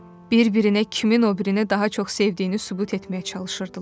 Bir-birinə kimin o birinə daha çox sevdiyini sübut etməyə çalışırdılar.